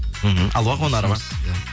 мхм алуа қонарова